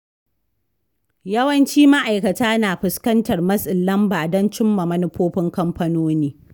Yawancin ma’aikata na fuskantar matsin lamba don cimma manufofin kamfanoni.